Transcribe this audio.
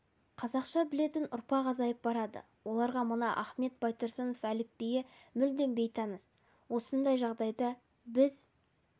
қазақша білетін ұрпақ азайып барады оларға мына ахмет байтұрсынов әліпбиі мүлдем бейтаныс осындай жағдайда біз